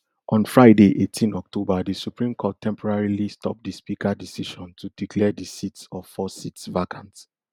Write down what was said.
on friday eighteen october di supreme court temporarily stop di speaker decision to declare di seats of four seats vacant